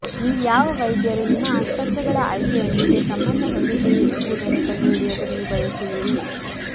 ನೀವು ಯಾವ ವೈದ್ಯರು ನಿಮ್ಮ ಆಸ್ಪತ್ರೆಗಳ ಆಯ್ಕೆಯೊಂದಿಗೆ ಸಂಬಂಧ ಹೊಂದಿದ್ದೀರಿ ಎಂಬುದನ್ನು ಕಂಡುಹಿಡಿಯಲು ನೀವು ಬಯಸುವಿರಿ